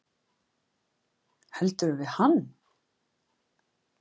Heldurðu við hann?